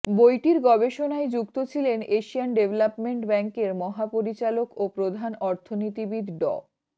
বইটির গবেষণায় যুক্ত ছিলেন এশিয়ান ডেভেলপমেন্ট ব্যাংকের মহাপরিচালক ও প্রধান অর্থনীতিবিদ ড